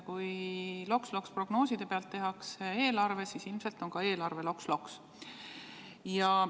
Kui loks-loks-prognooside pealt tehakse eelarve, siis ilmselt on ka eelarve loks-loks.